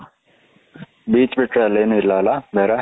beach ಬಿಟ್ರೆ ಅಲ್ಲಿ ಏನೂ ಇಲ್ಲ ಅಲ್ವಾ ಬೇರೆ.